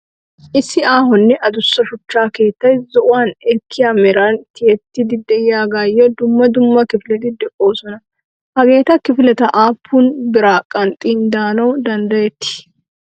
Issi aahonne addussa shuchcha keettay zo"ona ekkiya meran tiyettidi de'iyaagayyo dumma dumma kifileti de'oosona. Hageeta kifileta aappun biraa qanxxidi daanaw danddayetii?